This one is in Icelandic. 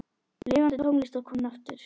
Lifandi tónlist var komin aftur.